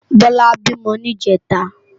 Bola bímò ni ijètá